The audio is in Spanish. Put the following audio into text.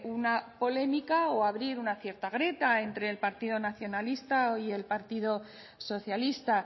una polémica o a abrir una cierta grieta entre el partido nacionalista y el partido socialista